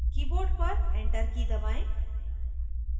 keyboard पर enter की दबाएं